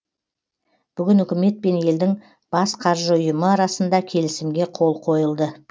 бүгін үкімет пен елдің бас қаржы ұйымы арасында келісімге қол қойылды